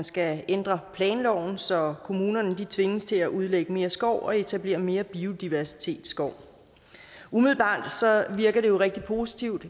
skal ændre planloven så kommunerne tvinges til at udlægge mere skov og etablere mere biodiversitetsskov umiddelbart virker det jo rigtig positivt